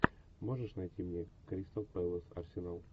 можешь найти мне кристал пэлас арсенал